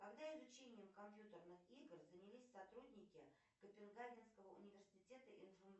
когда изучением компьютерных игр занялись сотрудники копенгагенского университета